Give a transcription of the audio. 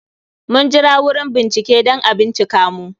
Mun jira wurin bincike, dan a bincika mu